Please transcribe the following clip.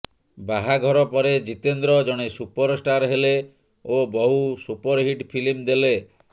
ବାହାଘର ପରେ ଜିତେନ୍ଦ୍ର ଜଣେ ସୁପରଷ୍ଟାର ହେଲେ ଓ ବହୁ ସୁପରହିଟ୍ ଫିଲ୍ମ ଦେଲେ